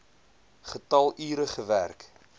getal ure gewerk